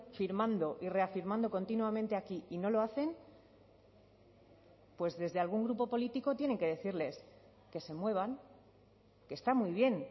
firmando y reafirmando continuamente aquí y no lo hacen pues desde algún grupo político tienen que decirles que se muevan que está muy bien